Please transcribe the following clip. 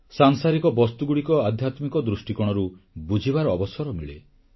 ସାଂସାରିକ ବସ୍ତୁଗୁଡ଼ିକ ଆଧ୍ୟାତ୍ମିକ ଦୃଷ୍ଟିକୋଣରୁ ବୁଝିବାର ଅବସର ମିଳେ